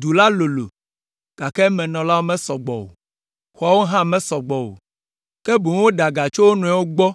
Du la lolo, gake emenɔlawo mesɔ gbɔ o, xɔawo hã mesɔ gbɔ o, ke boŋ woɖe ɖe aga tso wo nɔewo gbɔ